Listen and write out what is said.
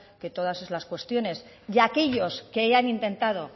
que todas esas cuestiones y aquellos que hayan intentado